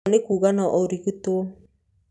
Ũguo nĩ kuga no ũrigitwo.